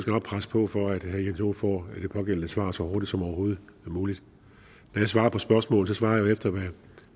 nok presse på for at herre jens joel får det pågældende svar så hurtigt som overhovedet muligt når jeg svarer på spørgsmål svarer jeg efter